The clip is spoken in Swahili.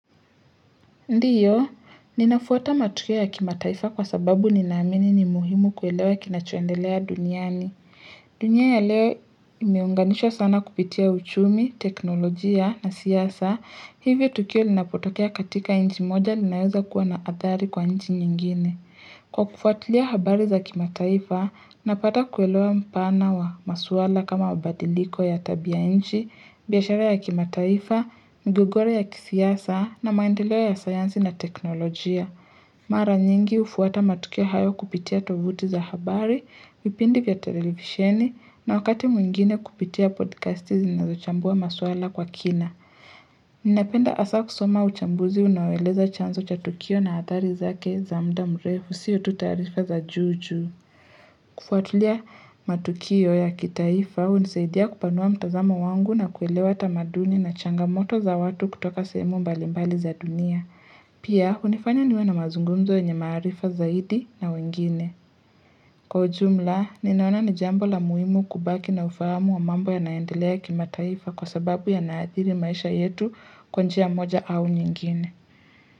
Ndiyo, ninafuata matukio ya kimataifa kwa sababu ninaamini ni muhimu kuelewa kinachoendelea duniani. Dunia ya leo imeunganishwa sana kupitia uchumi, teknolojia na siasa, hivyo tukio linapotokea katika inchi moja linaweza kuwa na athari kwa inchi nyingine. Kwa kufuatilia habari za kimataifa, napata kuelewa mpana wa masuala kama mabadiliko ya tabia inchi, biashara ya kimataifa, migogoro ya kisiasa na maendeleo ya sayansi na teknolojia. Mara nyingi hufuata matukio hayo kupitia tovuti za habari, vipindi vya televisioni na wakati mwingine kupitia podcasti zinazochambua masuala kwa kina. Ninapenda asa kusoma uchambuzi unaoeleza chanzo cha tukio na atari zake za mda mrefu sio tu tarifa za juu juu kufuatilia matukio ya kitaifa unisaidia kupanua mtazamo wangu na kuelewa tamaduni na changamoto za watu kutoka sehemu mbalimbali za dunia Pia unifanya niwe na mazungumzo yenye maarifa zaidi na wengine Kwa ujumla, ninaona ni jambo la muhimu kubaki na ufahamu wa mambo ya naendelea kima taifa kwa sababu ya naathiri maisha yetu kwa njia moja au nyingine.